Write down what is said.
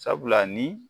Sabula ni